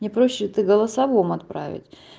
мне проще это голосовом отправить